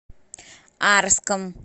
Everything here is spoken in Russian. арском